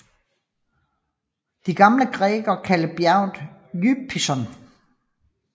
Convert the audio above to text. De gamle grækere kaldte bjerget Ypison